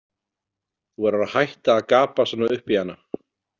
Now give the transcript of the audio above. Þú verður að hætta að gapa svona upp í hana.